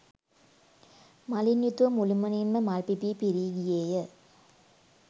මලින් යුතුව මුළුමනින් ම මල් පිපී පිරී ගියේ ය.